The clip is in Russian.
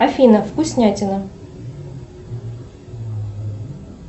афина вкуснятина